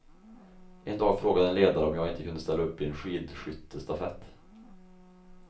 En dag frågade en ledare om jag inte kunde ställa upp i en skidskyttestafett.